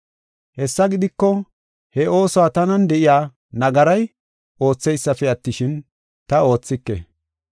Hessa gidiko, he oosuwa tanan de7iya nagaray oothaysipe attishin, ta oothike.